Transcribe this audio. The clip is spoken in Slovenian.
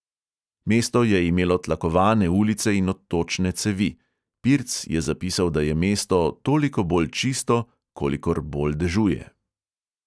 Mesto je imelo tlakovane ulice in odtočne cevi; pirc je zapisal, da je mesto "toliko bolj čisto, kolikor bolj dežuje".